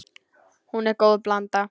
Hún er góð blanda.